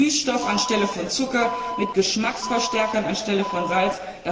mit Süßstoff anstelle von Zucker, mit Geschmacksverstärkern anstelle von Salz.